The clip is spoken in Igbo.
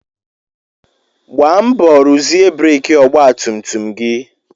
Gbaa mbọ ruzie breki ọgba tum tum gị!